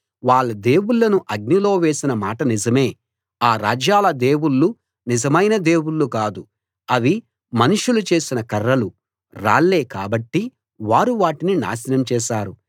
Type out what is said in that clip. వాళ్ళ దేవుళ్ళను అగ్నిలో వేసిన మాట నిజమే ఆ రాజ్యాల దేవుళ్ళు నిజమైన దేవుళ్ళు కాదు అవి మనుషుల చేసిన కర్రలు రాళ్లే కాబట్టి వారు వాటిని నాశనం చేశారు